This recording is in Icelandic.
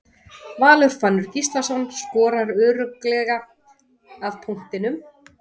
Valur Fannar Gíslason skorar örugglega af punktinum.